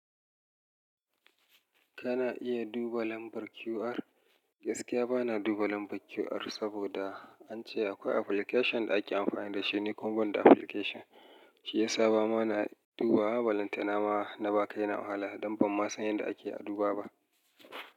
Kana iya duba lambar QR? Gaskiya bana duba lambar QR saboda an ce akwai application da ake amfani da shi. Ni kumaban da application, shi yasa ba ma na duba. Ma balantana ma na ba kai na wahala, don ban ma san yadda ake aduba ba.